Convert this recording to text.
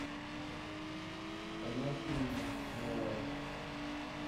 канал синема новое